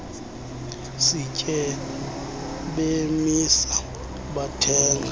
sitye bemisa bathenga